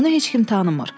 Onu heç kim tanımır.